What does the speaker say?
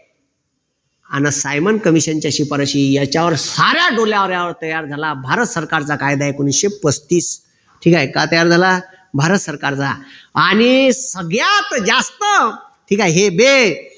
अन Simon commission च्या शिपारशी याच्यावर साऱ्या तयार झाला भारत सरकारचा कायदा एकोणीशे पस्तीस ठीक आहे का तयार झाला भारत सरकारचा आणि सगळ्यात जास्त ठीक आहे हे देश